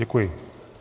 Děkuji.